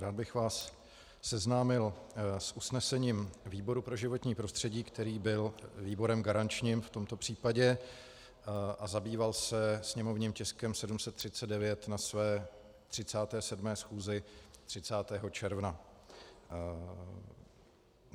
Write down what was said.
Rád bych vás seznámil s usnesením výboru pro životní prostředí, který byl výborem garančním v tomto případě a zabýval se sněmovním tiskem 739 na své 37. schůzi 30. června.